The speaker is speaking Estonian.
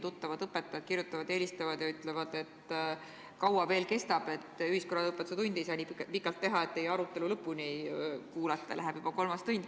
Tuttavad õpetajad kirjutavad ja helistavad, et küsida, kui kaua veel kestab – ühiskonnaõpetuse tundi ei saa nii pikalt teha, et teie arutelu lõpuni kuulata, läheb juba kolmas tund.